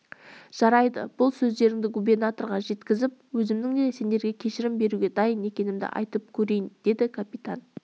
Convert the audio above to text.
жарайды бұл сөздеріңді губернаторға жеткізіп өзімнің де сендерге кешірім беруге дайын екенімді айтып көрейін деді капитан